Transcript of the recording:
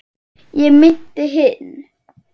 ég meinti hinn.